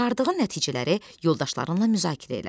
Çıxardığı nəticələri yoldaşlarınla müzakirə elə.